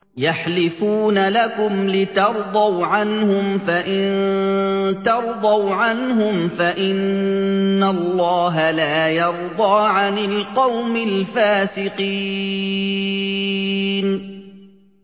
يَحْلِفُونَ لَكُمْ لِتَرْضَوْا عَنْهُمْ ۖ فَإِن تَرْضَوْا عَنْهُمْ فَإِنَّ اللَّهَ لَا يَرْضَىٰ عَنِ الْقَوْمِ الْفَاسِقِينَ